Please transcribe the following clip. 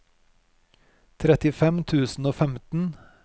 trettifem tusen og femten